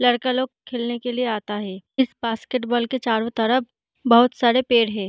लड़के लोग खेलने के लिए आता हैं। इस बास्केट बॉल के चारों तरफ बहुत सारे पेड़ हैं।